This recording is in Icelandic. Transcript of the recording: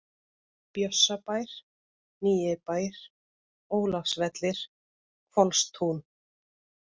Bjössabær, Nýjibær, Ólafsvellir, Hvolstún